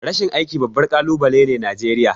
Rashin aiki babbar kalubale ne Najeriya.